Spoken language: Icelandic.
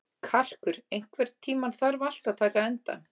Karkur, einhvern tímann þarf allt að taka enda.